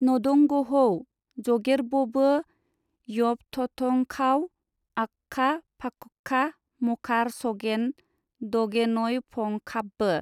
नदंगहौ जगेरबबो यबथथंखाव आखखा-फाख'खा मखार सगेन दगेनयफंखाबबो।